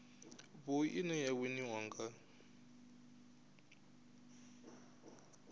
vhui ine ya winiwa nga